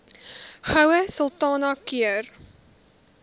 goue sultana keur